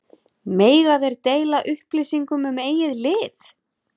Mega þeir deila upplýsingum um eigið lið?